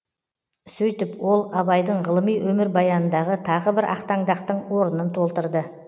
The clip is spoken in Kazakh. сөйтіп ол абайдың ғылыми өмірбаянындағы тағы бір ақтаңдақтың орынын толтырды